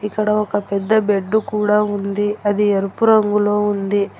ఇక్కడ ఒక పెద్ద బెడ్డు కూడా ఉంది. అది ఎరుపు రంగులో ఉంది.